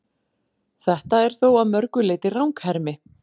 Þetta er þó að mörgu leyti ranghermi.